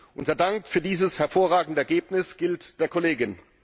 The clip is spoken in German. Unser Dank für dieses hervorragende Ergebnis gilt der Kollegin!